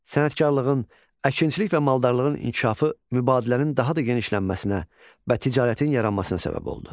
Sənətkarlığın, əkinçilik və maldarlığın inkişafı mübadilənin daha da genişlənməsinə və ticarətin yaranmasına səbəb oldu.